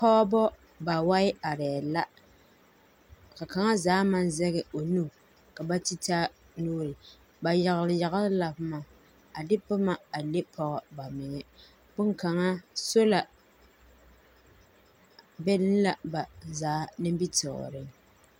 Pͻgebͻ bawae arԑԑ la. Ka kaŋa zaa maŋ zeŋԑ o nu ka ba te taa nuuri. Ba yagele yagele la boma, a de boma a le pͻge ba meŋԑ. Boŋkaŋaa sola be la ba zaa nimitͻͻreŋ.